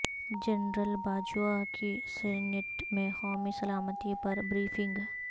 general Bajwa کی senate میں قومی سلامتی پر بریفنگ